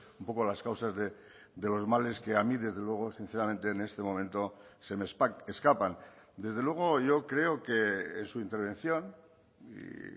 un poco las causas de los males que a mí desde luego sinceramente en este momento se me escapan desde luego yo creo que en su intervención y